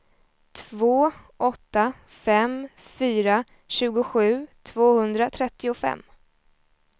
två åtta fem fyra tjugosju tvåhundratrettiofem